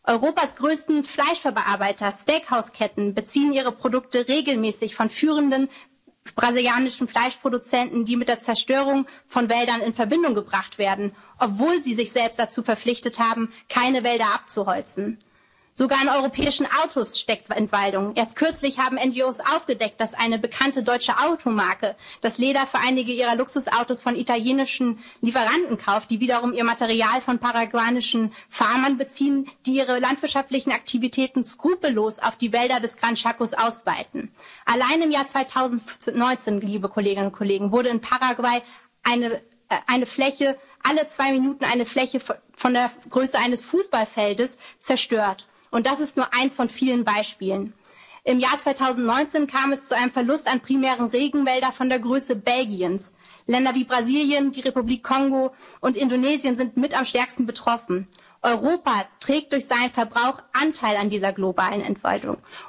Europas größte Fleischverarbeiter und Steakhaus-Ketten beziehen ihre Produkte regelmäßig von führenden brasilianischen Fleischproduzenten, die mit der Zerstörung von Wäldern in Verbindung gebracht werden, obwohl sie sich selbst dazu verpflichtet haben, keine Wälder abzuholzen. Sogar in europäischen Autos steckt Entwaldung Erst kürzlich haben NGOs aufgedeckt, dass eine bekannte deutsche Automarke das Leder für einige ihrer Luxusautos von italienischen Lieferanten kauft, die wiederum ihr Material von paraguayischen Farmen beziehen, die ihre landwirtschaftlichen Aktivitäten skrupellos auf die Wälder des Gran Chaco ausweiten. Allein im Jahr 2019, liebe Kolleginnen und Kollegen, wurde in Paraguay alle zwei Minuten eine Fläche von der Größe eines Fußballfeldes zerstört. Und das ist nur eines von vielen Beispielen. Im Jahr 2019 kam es zu einem Verlust an primären Regenwäldern von der Größe Belgiens. Länder wie Brasilien, die Republik Kongo und Indonesien sind mit am stärksten betroffen. Europa trägt durch seinen Verbrauch Anteil an dieser globalen